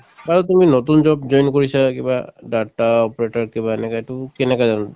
তুমি নতুন job join কৰিছা কিবা data operator কিবা এনেকে এইটো কেনেকাধৰণৰ